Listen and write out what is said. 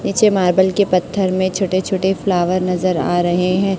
ऐछे marble के पत्थर मे छोटे छोटे फ्लावर नजर आ रहे है।